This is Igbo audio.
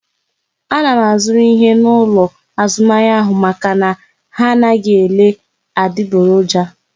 A na m azuru ihe n'ụlọ azụmahịa ahụ maka na ha anaghị ele adiboroja